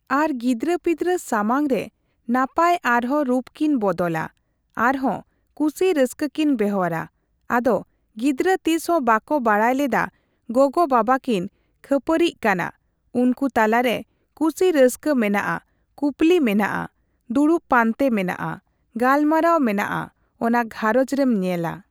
ᱟᱨ ᱜᱤᱫᱽᱨᱟᱹ ᱯᱤᱫᱽᱨᱟᱹ ᱥᱟᱢᱟᱝᱨᱮ ᱱᱟᱯᱟᱭ ᱟᱨᱦᱚ ᱨᱩᱯ ᱠᱤᱱ ᱵᱚᱫᱚᱞᱟ ᱟᱨᱦᱚ ᱠᱩᱥᱤ ᱨᱟᱹᱥᱠᱟᱹ ᱠᱤᱱ ᱵᱮᱣᱦᱟᱨᱟ ᱾ᱟᱫᱚ ᱜᱤᱫᱽᱨᱟᱹ ᱛᱤᱥᱦᱚᱸ ᱵᱟᱠᱚ ᱵᱟᱲᱟᱭ ᱞᱮᱫᱟ ᱜᱚᱜᱚ ᱵᱟᱵᱟ ᱠᱤᱱ ᱠᱷᱟᱹᱯᱟᱹᱨᱤᱜ ᱠᱟᱱᱟ ᱾ᱩᱱᱠᱩ ᱛᱟᱞᱟᱨᱮ ᱠᱩᱥᱤ ᱨᱟᱹᱥᱠᱟᱹ ᱢᱮᱱᱟᱜᱼᱟ ᱠᱩᱯᱩᱞᱤ ᱢᱮᱱᱟᱜᱼᱟ ᱾ ᱫᱩᱲᱩᱵ ᱯᱟᱱᱛᱮ ᱢᱮᱱᱟᱜᱼᱟ ᱜᱟᱞᱢᱟᱨᱟᱣ ᱢᱮᱱᱟᱜᱼᱟ ᱚᱱᱟ ᱜᱷᱟᱸᱨᱚᱡᱽ ᱨᱮᱢ ᱧᱮᱞᱟ ᱾